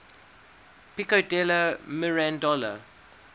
pico della mirandola